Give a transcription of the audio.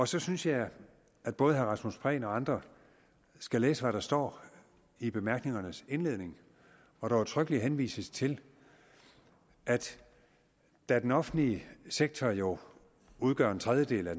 så synes jeg at både herre rasmus prehn og andre skal læse hvad der står i bemærkningernes indledning hvor der udtrykkeligt henvises til at da den offentlige sektor jo udgør en tredjedel af